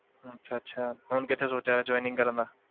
ਅੱਛਾ ਅੱਛਾ ਹੁਣ ਕਿੱਥੇ ਸੋਚਿਆ ਹੋਇਆ ਹੈ joining ਕਰਨ ਦਾ?